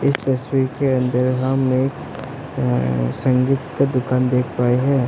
इस तस्वीर के अंदर हम एक संगीत का दुकान देख पाए हैं।